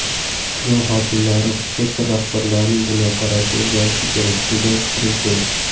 Tuman hokimlari, sektor rahbarlarining dunyoqarashi o‘zgarishi kerak”, degan Prezident.